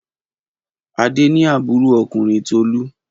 Adé ni àbúrò ọkùnrin Tolú.